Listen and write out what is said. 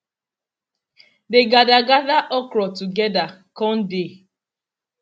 dey gather gather okra together con dey